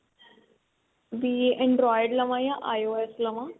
ਵੀ android ਲਵਾਂ ਜਾਂ IOS ਲਵਾਂ